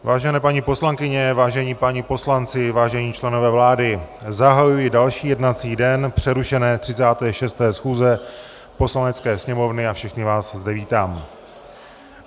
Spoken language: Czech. Vážené paní poslankyně, vážení páni poslanci, vážení členové vlády, zahajuji další jednací den přerušené 36. schůze Poslanecké sněmovny a všechny vás zde vítám.